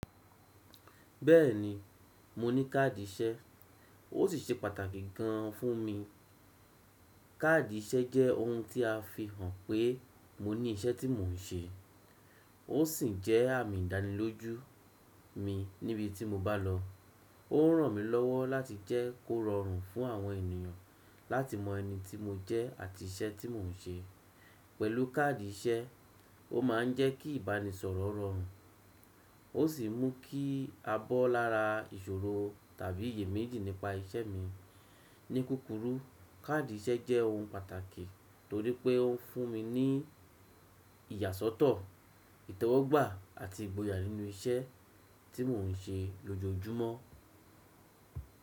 Bẹ́ẹ̀ni, mo ní káàdì iṣẹ́, ó sì ṣe pàtàkì gan an fún mi. Káàdì iṣẹ́ jẹ́ ohun tí a fi hàn pé mo ní iṣẹ́ tí mò ń ṣe, ó sì jẹ́ àmì ìdánilójú mi níbi tí mo bá lọ. Ó ń ràn mí lọ́wọ́ láti jẹ́ kó rọrùn fún àwọn ènìyàn láti mọ ẹni tí mo jẹ́ àti iṣẹ́ tí mò ń ṣe. Pẹ̀lú káàdì iṣẹ́, ó máà ń jẹ́ kí ìbánisọ̀rọ̀ rọrùn, ó sì mú kí a bọ́ lára ìṣòro tàbí iyèméjì nípa iṣẹ́ mi. Ní kúrú kúrú, káàdì iṣẹ́ jẹ́ ohun pàtàkì torí pé ó fún mi ní ìyàsọ́tọ̀, ìtọ́wọ́gbà àti ìgboyà nínú iṣẹ́ tí mò ń ṣe lójoojúmọ́.